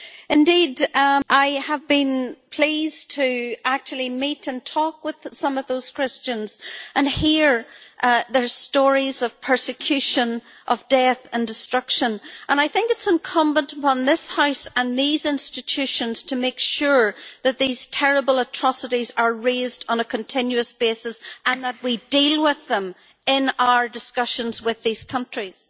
Indeed, I have been pleased to actually meet and talk with some of those Christians and hear their stories of persecution, of death and destruction, and I think it is incumbent upon this House and these institutions to make sure that these terrible atrocities are raised on a continuous basis and that we deal with them in our discussions with these countries.